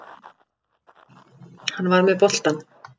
Hann var með boltann.